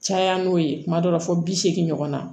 Caya n'o ye kuma dɔ la fɔ bi seegin ɲɔgɔn na